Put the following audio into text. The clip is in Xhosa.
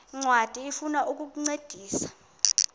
ncwadi ifuna ukukuncedisa